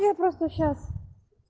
я просто сейчас